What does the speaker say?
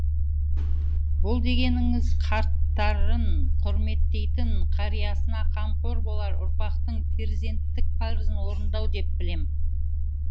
бұл дегеніңіз қарттарын құрметтейтін қариясына қамқор болар ұрпақтың перзенттік парызын орындау деп білем